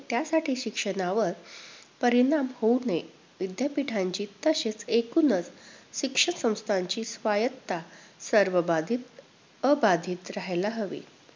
त्यासाठी शिक्षणावर परिणाम होऊ नये. विद्यापीठांची तसेच एकूणच शिक्षण संस्थांची स्वायत्तता सर्वबाधित अबाधित राहायला हवी.